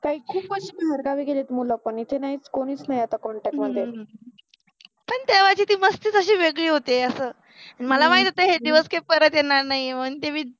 पन खुपच बाहेर गावि गेले पन मुल पन एथे नाहिच कोणिच नाहि आहे कॉन्टॅक्ट मधे तेव्हाचि ति मस्ति ति वेगळी होति मला माहित होत हे दिवस काय परत येनार नाहि आहेत मनुन